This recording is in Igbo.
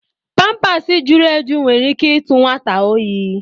pampaasi jụrụ eju nwere ike ịtụ nwata óyi.